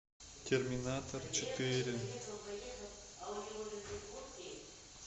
терминатор четыре